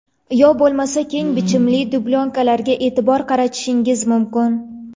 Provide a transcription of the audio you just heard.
Yo bo‘lmasa keng bichimli dublyonkalarga e’tibor qaratishingiz mumkin.